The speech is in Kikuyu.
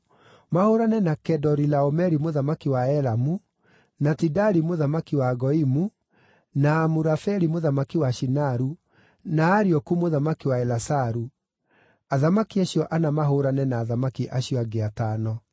mahũũrane na Kedorilaomeri mũthamaki wa Elamu, na Tidali mũthamaki wa Goimu, na Amurafeli mũthamaki wa Shinaru, na Arioku mũthamaki wa Elasaru, athamaki acio ana mahũũrane na athamaki acio angĩ atano.